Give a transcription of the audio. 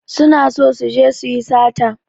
Su na so su je su yi sata.